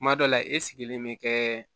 Kuma dɔ la e sigilen bɛ kɛ